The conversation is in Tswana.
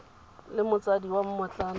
e le motsadi wa mmotlana